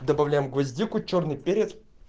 добавляем гвоздику чёрный перец